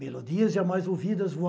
Melodias jamais ouvidas